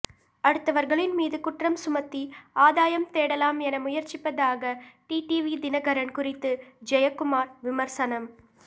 அடுத்தவர்களின் மீது குற்றம் சுமத்தி ஆதாயம் தேடலாம் என முயற்சிப்பதாக டிடிவி தினகரன் குறித்து ஜெயக்குமார் விமர்சனம்